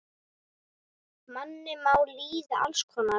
Manni má líða alls konar.